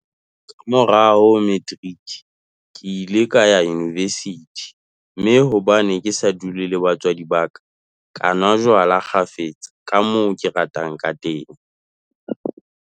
Ka morao ho materiki, ke ile ka ya univesithi, mme hobane ke sa dule le batswadi ba ka, ka nwa jwala kgafetsa ka moo ke ratang kateng.